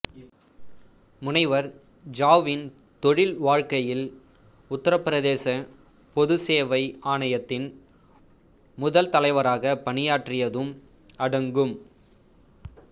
முனைவர் ஜாவின் தொழில் வாழ்க்கையில் உத்தரபிரதேச பொது சேவை ஆணையத்தின் முதல் தலைவராக பணியாற்றியதும் அடங்கும்